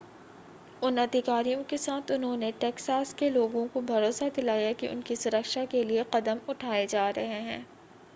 उन अधिकारियों के साथ उन्होंने टेक्सास के लोगों को भरोसा दिलाया कि उनकी सुरक्षा के लिए कदम उठाए जा रहे हैं